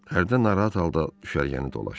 Hərdən narahat halda düşərgəni dolaşdı.